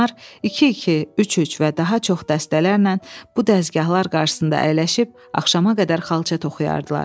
Onlar iki-iki, üç-üç və daha çox dəstələrlə bu dəzgahlar qarşısında əyləşib, axşama qədər xalça toxuyardılar.